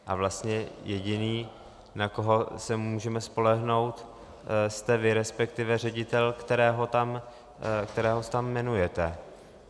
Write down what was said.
A vlastně jediný, na koho se můžeme spolehnout, jste vy, respektive ředitel, kterého tam jmenujete.